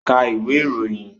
Ka ìwé ìròyìn!